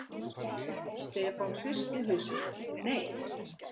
Stefán hristi hausinn: Nei.